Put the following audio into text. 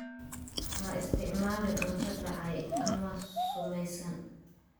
Ha isticmaalin cunto dhacay ama sumaysan.